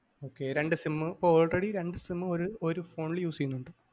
okay രണ്ട് sim ഇപ്പൊ already രണ്ട് sim ഒരു ഫോണില് use ചെയ്യുന്നുണ്ട്.